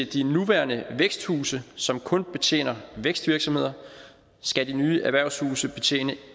de nuværende væksthuse som kun betjener vækstvirksomheder skal de nye erhvervshuse betjene